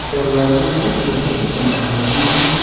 दरवाजे भी लोहे के बनाए गए हैं।